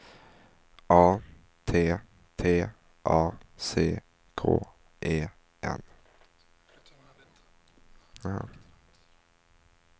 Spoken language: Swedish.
A T T A C K E N